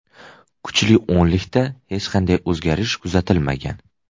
Kuchli o‘nlikda hech qanday o‘zgarish kuzatilmagan.